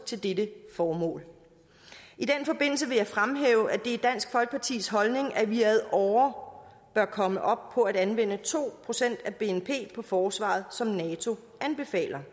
til dette formål i den forbindelse vil jeg fremhæve at det er dansk folkepartis holdning at vi ad åre bør komme op på at anvende to procent af bnp på forsvaret som nato anbefaler